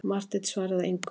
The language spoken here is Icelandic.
Marteinn svaraði engu.